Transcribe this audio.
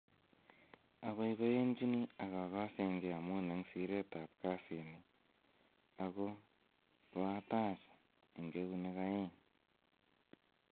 "Aboiboiyenchini ak agosengee amun en siretab kasini ago koatach en eunek aeng."